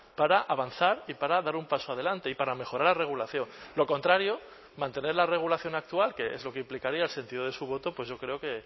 para avanzar y para dar un paso adelante y para mejorar la regulación lo contrario mantener la regulación actual que es lo que implicaría el sentido de su voto pues yo creo que